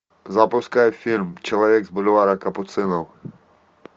запускай фильм человек с бульвара капуцинов